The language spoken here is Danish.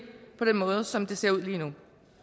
på den måde som det ser ud lige nu